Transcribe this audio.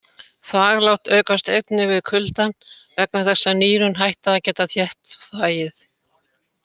Þvaglát aukast einnig við kuldann vegna þess að nýrun hætta að geta þétt þvagið.